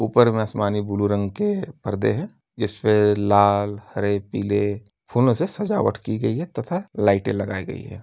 ऊपर मे आसमानी ब्लू रंग के परदे है जिसपे लाल हरे पीले फूलों से सजावट की गई है तथा लाइटे लगाई गई हैं।